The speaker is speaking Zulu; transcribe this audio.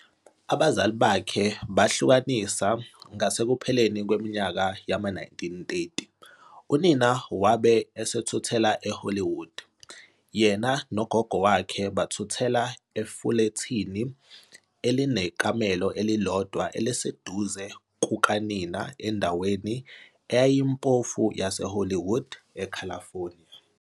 Abazali bakhe bahlukanisa ngasekupheleni kweminyaka yama-1930, Unina wabe esethuthela eHollywood, yena nogogo wakhe bathuthela efulethini elinekamelo elilodwa eliseduze kukanina endaweni eyayimpofu yaseHollywood, eCalifornia.